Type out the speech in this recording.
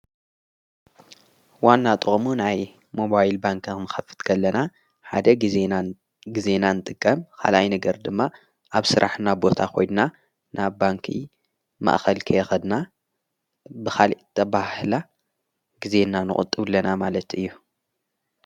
ዋና ጥሙ ናይ ሞባይል ባንካቕ ምኸፍጥገለና ሓደ ዜናን ጊዜናን ጥቀም ኻላይ ነገር ድማ ኣብ ሥራሕ ና ቦታ ኾይድና ናብ ባንኪ ማእኸል ከየኸድና ብኻልተብህላ ጊዜ እና ንቕጥብለና ማለት እዩ።